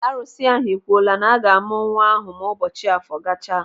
Arụsị ahụ ekwuola na aga-amụ nwa ahụ ma ụbọchị afọ gachaa.